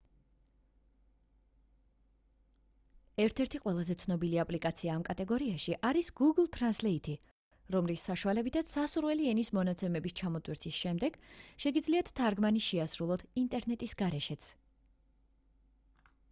ერთ-ერთი ყველაზე ცნობილი აპლიკაცია ამ კატეგორიაში არის გუგლ თრანსლეითი რომლის საშუალებითაც სასურველი ენის მონაცემების ჩამოტვირთვის შემდეგ შეგიძლიათ თარგმანი შეასრულოთ ინტერნეტის გარეშეც